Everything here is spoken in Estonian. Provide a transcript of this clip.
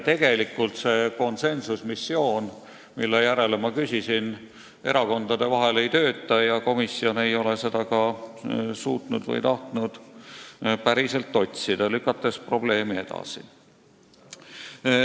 Tegelikult see konsensusmissioon, mille kohta ma küsisin, erakondade vahel ei tööta ja komisjon ei ole seda ka suutnud või tahtnud päriselt otsida, lükates probleemi lahendamist edasi.